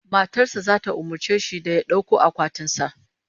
Matar sa zata umurce shi da ya dauko akwatin sa